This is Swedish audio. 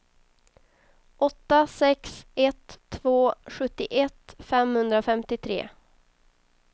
åtta sex ett två sjuttioett femhundrafemtiotre